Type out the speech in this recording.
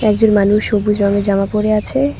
একজন মানুষ সবুজ রঙের জামা পড়ে আছে।